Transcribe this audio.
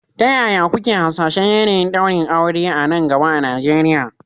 Ta yaya kuke hasashen yanayin ɗaurin aure a nan gaba a Najeriya?